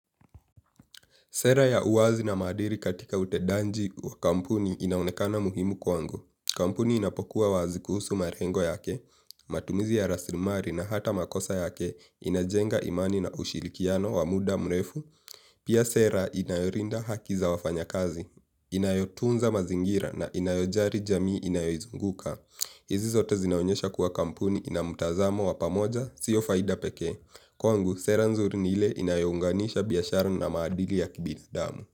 Sera ya uwazi na maadili katika utedaji wa kampuni inaonekana muhimu kwangu. Kampuni inapokuwa wazi kuhusu malengo yake, matumizi ya raslimali na hata makosa yake inajenga imani na ushirikiano wa muda mrefu. Pia sera inayolinda haki za wafanyakazi, inayotunza mazingira na inayojali jamii inayoizunguka. Hizi zote zinaonyesha kuwa kampuni ina mtazamo wa pamoja, sio faida pekee. Kwangu sera nzuri ni ile inayounganisha biashara na maadili ya kibinadamu.